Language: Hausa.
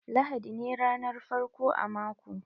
Lahadi ne ranar farko a mako.